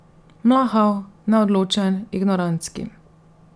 Mlahav, neodločen, ignorantski.